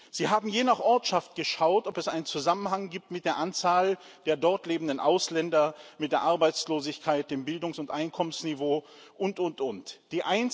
Sie haben je nach Ortschaft geschaut, ob es einen Zusammenhang mit der Anzahl der dort lebenden Ausländer, mit der Arbeitslosigkeit, dem Bildungs und Einkommensniveau und, und, und gibt.